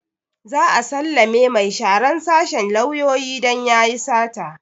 Za a sallame mai sharan sashen lauyoyi don yayi sata